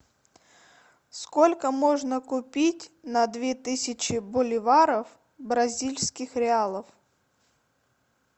сколько можно купить на две тысячи боливаров бразильских реалов